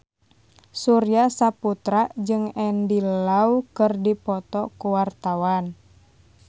Surya Saputra jeung Andy Lau keur dipoto ku wartawan